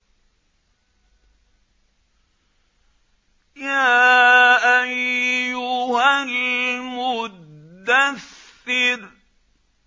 يَا أَيُّهَا الْمُدَّثِّرُ